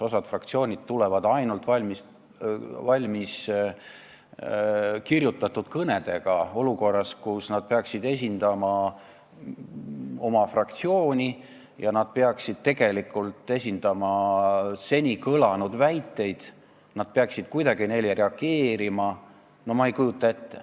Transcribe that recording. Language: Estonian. Osa fraktsioone tulevad ainult valmiskirjutatud kõnedega olukorras, kus nad peaksid esindama oma fraktsiooni ja peaksid tegelikult vastama kõlanud väidetele, nad peaksid kuidagi neile reageerima.